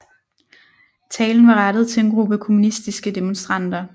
Talen var rettet til en gruppe kommunistiske demonstranter